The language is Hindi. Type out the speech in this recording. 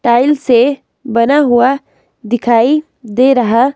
टाइल से बना हुआ दिखाई दे रहा--